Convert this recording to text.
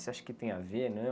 Você acha que tem a ver, né?